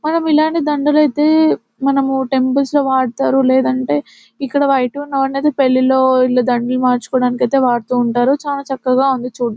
మనం ఇలాగే దండలు అయితే మనము టెంపుల్స్ లో వాడుతారు లేదంటే ఇక్కడ వైటు అనేది పెళ్లిలో వీళ్ళు దండలు మార్చుకోవడానికి అయితే వాడుతూ ఉంటారు చానా చక్కగా ఉంది చూడ్డానికి --